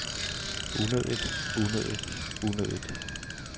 unødigt unødigt unødigt